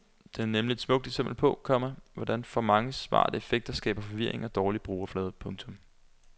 Den er nemlig et smukt eksempel på, komma hvordan for mange smarte effekter skaber forvirring og dårlig brugerflade. punktum